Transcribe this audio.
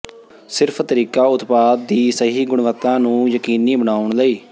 ਸਿਰਫ ਤਰੀਕਾ ਉਤਪਾਦ ਦੀ ਸਹੀ ਗੁਣਵੱਤਾ ਨੂੰ ਯਕੀਨੀ ਬਣਾਉਣ ਲਈ